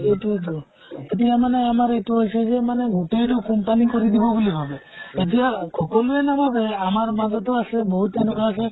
এইতোৱে তো । এতিয়া মানে আমাৰ এইতো হৈছে যে মানে গোটেই তো company কৰি দিব বুলি ভাৱে । এতিয়া খকলোৱে নাভাৱে, আমাৰ মাজতো আছে বহুত তেনেকুৱা আছে